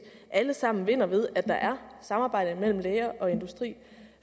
alle sammen vinder ved at der er samarbejde mellem læger og industri